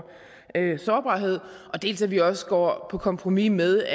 sårbarhed dels at vi også går på kompromis med